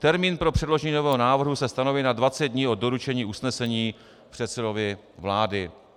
Termín pro předložení nového návrhu se stanoví na 20 dní od doručení usnesení předsedovi vlády.